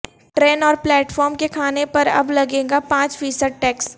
train اور platform کے کھانے پر اب لگے گا پانچ فیصد ٹیکس